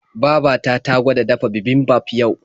Baba ta ta gwada dafa bibimbap yau.